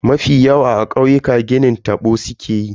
Mafi yawa a kauyuka ginin tabo sukeyi.